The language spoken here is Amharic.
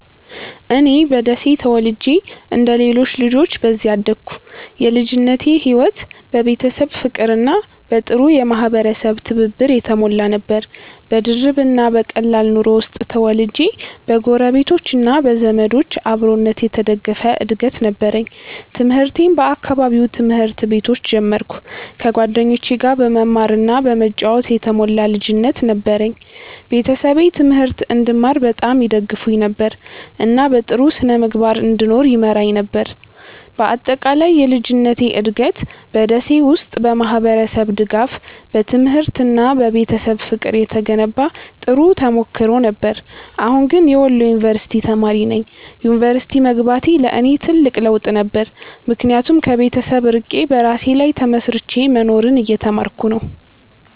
እኔ በደሴ ተወልጄ እንደ ሌሎች ልጆች በዚያ አደግኩ። የልጅነቴ ሕይወት በቤተሰብ ፍቅርና በጥሩ የማህበረሰብ ትብብር የተሞላ ነበር። በድርብ እና በቀላል ኑሮ ውስጥ ተወልጄ በጎረቤቶች እና በዘመዶች አብሮነት የተደገፈ እድገት ነበረኝ። ትምህርቴን በአካባቢው ትምህርት ቤቶች ጀመርኩ፣ ከጓደኞቼ ጋር በመማር እና በመጫወት የተሞላ ልጅነት ነበረኝ። ቤተሰቤ ትምህርት እንድማር በጣም ይደግፉኝ ነበር፣ እና በጥሩ ስነ-ምግባር እንድኖር ይመራኝ ነበር። በአጠቃላይ የልጅነቴ እድገት በ ደሴ ውስጥ በማህበረሰብ ድጋፍ፣ በትምህርት እና በቤተሰብ ፍቅር የተገነባ ጥሩ ተሞክሮ ነበር። አሁን ግን የወሎ ዩንቨርስቲ ተማሪ ነኝ። ዩኒቨርሲቲ መግባቴ ለእኔ ትልቅ ለውጥ ነበር፣ ምክንያቱም ከቤተሰብ ርቄ በራሴ ላይ ተመስርቼ መኖርን እየተማርኩ ነው።